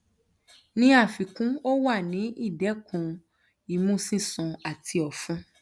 ni afikun o wa ni idẹkun imu sisun ati ọfun